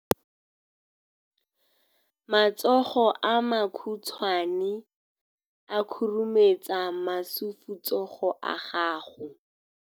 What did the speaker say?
matsogo a makhutshwane a khurumetsa masufutsogo a gago